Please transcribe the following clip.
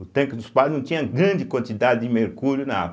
O tanque dos padres não tinha grande quantidade de mercúrio na água.